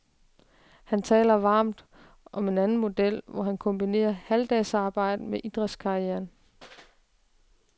Han taler varmt om en anden model, hvor man kombinerer halvdagsarbejde med idrætskarrieren.